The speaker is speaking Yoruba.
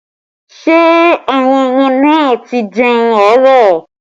Ṣé àwọn ọmọ náà ti jẹun àárọ̀?